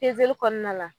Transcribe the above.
kɔnɔna la